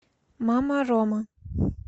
мама рома